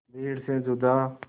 भीड़ से जुदा